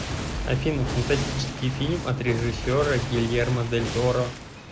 афина фантастический фильм от режиссера гельермо дель торро